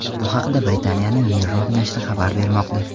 Bu haqda Britaniyaning Mirror nashri xabar bermoqda .